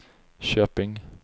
Köping